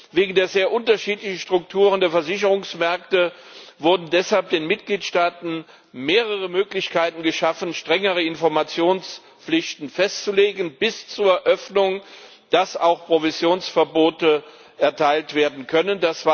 Wegen der sehr unterschiedlichen Strukturen der Versicherungsmärkte wurden deshalb den Mitgliedstaaten mehrere Möglichkeiten geschaffen, strengere Informationspflichten festzulegen, bis zur Öffnung, dass auch Provisionsverbote erteilt werden können.